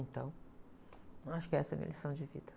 Então, eu acho que essa é a minha lição de vida.